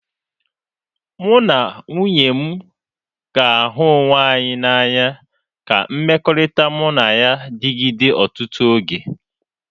Mụ na nwunye m ga-ahụ onwe anyị n'anya ka mmekọrịta mụ na ya digide ọtụtụ oge.